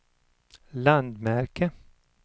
landmärke